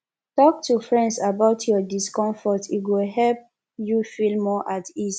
talk to friends about your discomfort e go help you feel more at ease